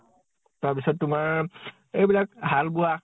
তাৰ পিছত তোমাৰ এইবিলাক হাল বোৱা